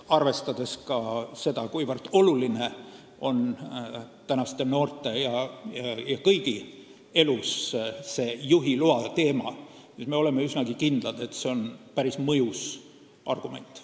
Arvestades ka seda, kuivõrd oluline on noorte ja kõigi teiste elus juhiloa teema, oleme üsnagi kindlad, et selle äravõtmine on päris mõjus argument.